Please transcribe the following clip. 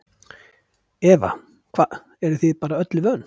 Eva: Hvað eruð þið bara öllu vön?